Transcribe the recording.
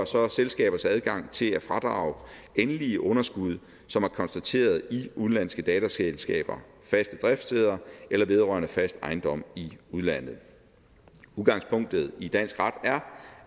så selskabers adgang til at fradrage endelige underskud som er konstateret i udenlandske datterselskabers faste driftssteder eller vedrørende fast ejendom i udlandet udgangspunktet i dansk ret er